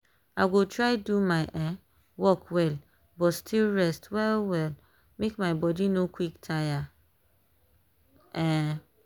i go try do my um work well but still rest well well make my body no quick tire. um